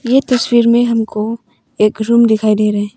ये तस्वीर में हमको एक रूम दिखाई दे रहे हैं।